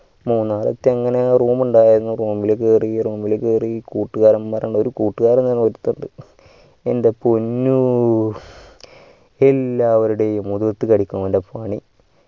മൂന്നാറെത്തി അങ്ങനെ room ഉണ്ടായിരുന്നു room ഇൽ കേറി room കേറി ഒരു കൂട്ടുകാരൻമാരിൽ ഒരു കൂട്ടുകാരൻ ഒരുത്തനിണ്ടു എൻ്റെ പോന്നൂ എല്ലാവരുടെയും മൊഖത്തിട്ട് കടിക്കും അവൻ്റെ പണി